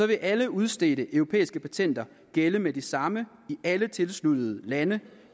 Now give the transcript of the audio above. vil alle udstedte europæiske patenter gælde med det samme i alle tilsluttede lande